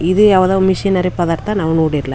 ಇದು ಯಾವುದೊ missionary power ಅಂತ ನಾವು ನೋಡಿಲ್ಲ.